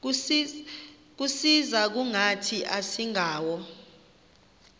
kusisa kungathi asingawo